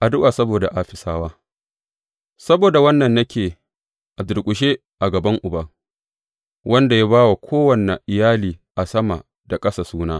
Addu’a saboda Afisawa Saboda wannan ne nake a durƙushe a gaban Uba, wanda ya ba wa kowane iyali a sama da ƙasa suna.